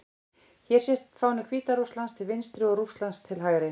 Hér sést fáni Hvíta-Rússlands til vinstri og Rússlands til hægri.